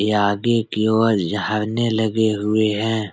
ये आगे की ओर झरने लगे हुए हैं।